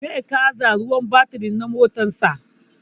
Zai canza ruwan batiri na motan sa